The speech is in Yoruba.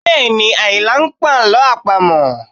Bẹẹ̀ni, Ayinla ń pa àlọ́ àpamọ̀